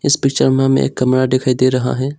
Picture में हमें एक कमरा दिखाई दे रहा है।